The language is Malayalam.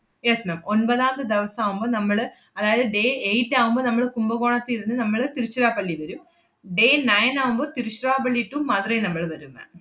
yes ma'am ഒൻപതാമത്തെ ദെവസം ആവുമ്പൊ നമ്മള് അതായത് day eight ആവുമ്പ നമ്മള് കുംഭകോണത്തി ഇരുന്ന് നമ്മള് തിരുച്ചിറപ്പള്ളി വെരും. day nine ആവുമ്പൊ തിരുച്ചിറപ്പള്ളി to മധുരൈ നമ്മള് വരും ma'am